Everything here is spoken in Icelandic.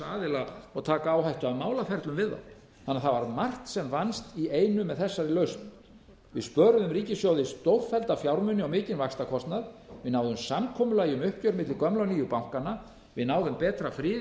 aðila og taka áhættu af málaferlum við þá þannig að það var margt sem vannst í einu með þessari lausn við spöruðum ríkissjóði stórfellda fjármuni á mikinn vaxtakostnað við náðum samkomulagi um uppgjör milli gömlu og nýju bankanna við náðum betri friði